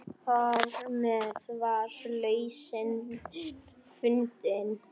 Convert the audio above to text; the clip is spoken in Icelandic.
Þarmeð var lausnin fundin.